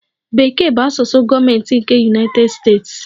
Bekee bụ asụsụ gọọmentị nke United States.